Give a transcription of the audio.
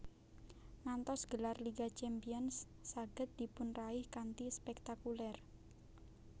Ngantos gelar Liga Champions saged dipunraih kanthi spektakuler